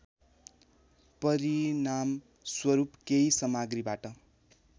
परिणामस्वरूप केही सामग्रीबाट